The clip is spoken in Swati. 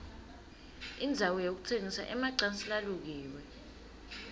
indzawo yekutsengisa emacansi lalukiwe